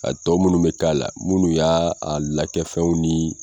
A tɔ munnu bɛ k'a la, munnu y'a a lakɛfɛnw ni.